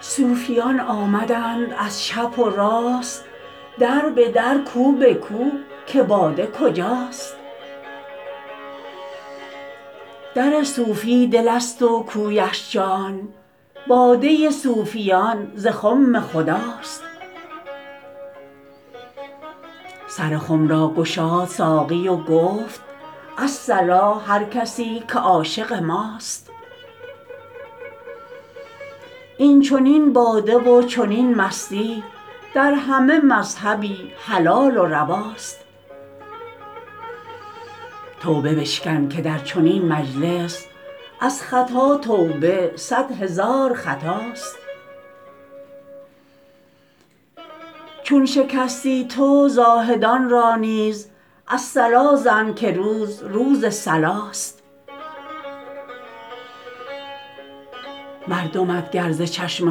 صوفیان آمدند از چپ و راست در به در کو به کو که باده کجاست در صوفی دل ست و کویش جان باده صوفیان ز خم خداست سر خم را گشاد ساقی و گفت الصلا هر کسی که عاشق ماست این چنین باده و چنین مستی در همه مذهبی حلال و رواست توبه بشکن که در چنین مجلس از خطا توبه صد هزار خطاست چون شکستی تو زاهدان را نیز الصلا زن که روز روز صلاست مردمت گر ز چشم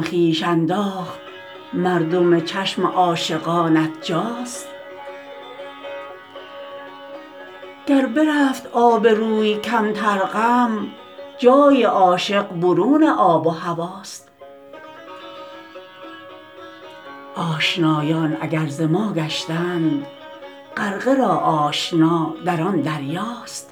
خویش انداخت مردم چشم عاشقانت جاست گر برفت آب روی کمتر غم جای عاشق برون آب و هواست آشنایان اگر ز ما گشتند غرقه را آشنا در آن دریاست